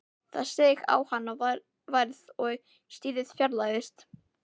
Það seig á hana værð og stríðið fjarlægðist.